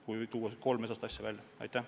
Neid kolm asja on põhilised.